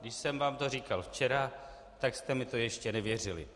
Když jsem vám to říkal včera, tak jste mi to ještě nevěřili.